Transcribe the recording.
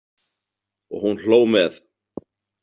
Og hún hló með.